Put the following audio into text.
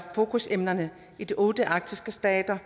fokusemnerne i de otte arktiske stater